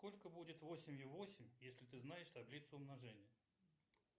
сколько будет восемью восемь если ты знаешь таблицу умножения